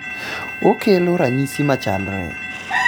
okelo ranyisi machalre